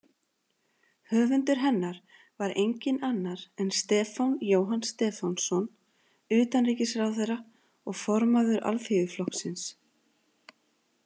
Höfundur hennar var enginn annar en Stefán Jóhann Stefánsson, utanríkisráðherra og formaður Alþýðuflokksins.